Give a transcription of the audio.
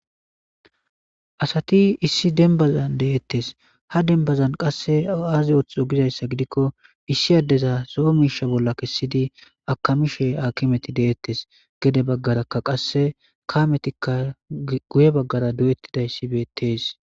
Ha misilezi besizaysi woykon qoncisizaysi kehippe gittane dalga gidiza gosha soni gistey gakizaysa gidon issi mishiriya gulitiza heni baga malatiza hasayashe dizaysa ha misiley qoncises